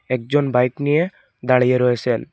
একজন বাইক নিয়ে দাঁড়িয়ে রয়েসেন।